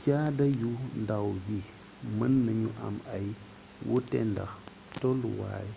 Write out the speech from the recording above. caada yu ndaw yi mën nañu am ay wuute ndax tolluwaay